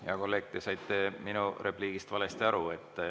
Hea kolleeg, te saite minu repliigist valesti aru.